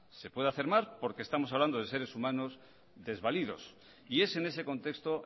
se puede hacer más porque estamos hablando de seres humanos desvalidos y es en ese contexto